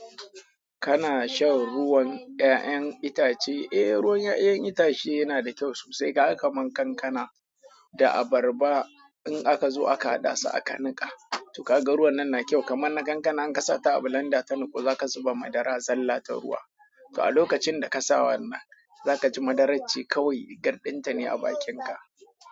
Kana shan ruwan 'ya'yan itace? Eh, ruwan 'ya'yan itace yana da kyau sosai. Kaga ka man kankana da abarba in aka zo aka haɗa su aka niƙa. To ka ga ruwan nan na kyau kamar na kankana in kasa ta a bulanda ta niƙu za ka zuba madara zalla ta ruwa. To a lokacin da ka sa wannan, za ka ji madarar ce kawai gardinta ne a bakinka.